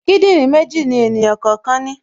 Kíndìnrín méjì ni ènìyàn kọ̀ọ̀kan ní